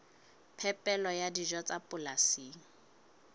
phepelo ya dijo tsa polasing